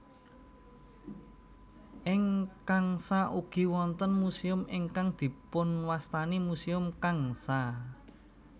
Ing Changsha ugi wonten muséum ingkang dipunwastani Museum Changsha